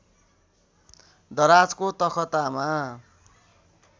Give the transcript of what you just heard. दराजको तखतामा